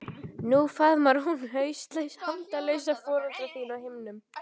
Nú faðmar hún hauslaus handalausa foreldra þína á himnum.